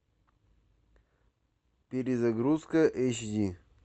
перезагрузка эйч ди